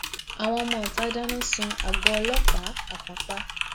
àwọn ọmọọta dáná sun àgọ ọlọpàá àpápá